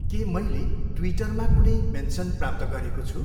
के मैले ट्विटरमा कुनै मेन्सन प्राप्त गरेको छु?